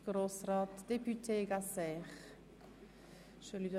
Gibt es Einzelsprecher?